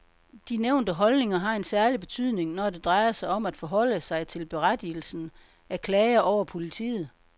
De nævnte holdninger har en særlig betydning, når det drejer sig om at forholde sig til berettigelsen af klager over politiet.